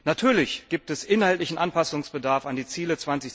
Natürlich gibt es inhaltlichen Anpassungsbedarf an die Ziele